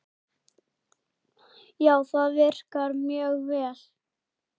Já, það virkar mjög vel.